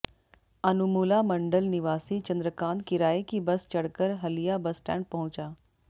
अनुमुला मंडल निवासी चंद्रकांत किराए की बस चढ़कर हलिया बस स्टैंड पहुंचा